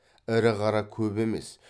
ірі қара көп емес